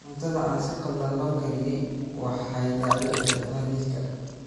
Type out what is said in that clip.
Cuntada aan si khaldan loo kariyey waxay dhaawici kartaa jidhka.